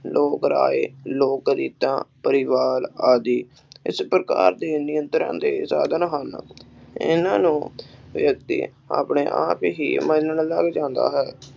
ਲੋਗ ਪਰਾਏ, ਲੋਕ ਰੀਤਾ, ਪਰਿਵਾਰ ਆਦਿ ਇਸ ਪ੍ਰਕਾਰ ਦੇ ਨਿਯੰਤ੍ਰਾ ਦੇ ਸਾਧਨ ਹਨ। ਇਹਨਾਂ ਨੂੰ ਵਿਅਕਤੀ ਆਪਣੇ ਆਪ ਹੀ ਮੰਨਣ ਲੱਗ ਜਾਂਦਾ ਹੈ।